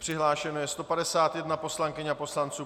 Přihlášeno je 151 poslankyň a poslanců.